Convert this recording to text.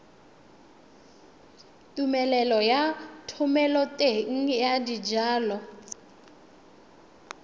tumelelo ya thomeloteng ya dijalo